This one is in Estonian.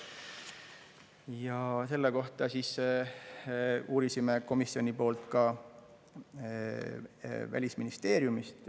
Ja selle kohta siis uurisime komisjoni poolt ka Välisministeeriumist.